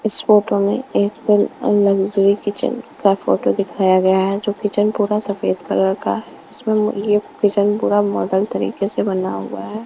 इस फोटो में एक लग्जरी किचन का फोटो दिखाया गया है जो किचन पूरा सफेद कलर का है इसमें ये किचन पूरा मॉडल तरीके से बना हुआ है।